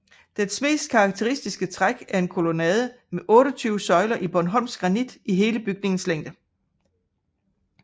Dets mest karakteristiske træk er en kolonnade med 28 søjler i bornholmsk granit i hele bygningens længde